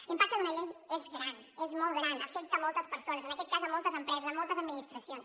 l’impacte d’una llei és gran és molt gran afecta moltes persones en aquest cas moltes empreses moltes administracions